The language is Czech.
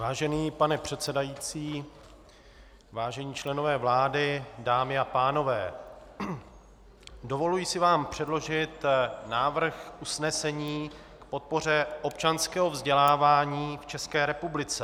Vážený pane předsedající, vážení členové vlády, dámy a pánové, dovoluji si vám předložit návrh usnesení k podpoře občanského vzdělávání v České republice.